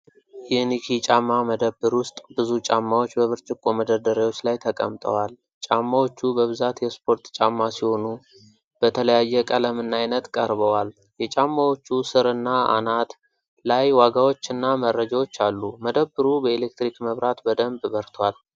የኒኪ ጫማ መደብር ውስጥ ብዙ ጫማዎች በብርጭቆ መደርደሪያዎች ላይ ተቀምጠዋል። ጫማዎቹ በብዛት የስፖርት ጫማ ሲሆኑ በተለያየ ቀለምና ዓይነት ቀርበዋል። የጫማዎቹ ስርና አናት ላይ ዋጋዎችና መረጃዎች አሉ። መደብሩ በኤሌክትሪክ መብራት በደንብ በርቷል።